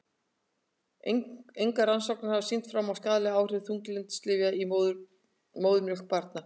Engar rannsóknir hafa sýnt fram á skaðleg áhrif þunglyndislyfja í móðurmjólk á barnið.